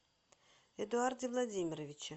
эдуарде владимировиче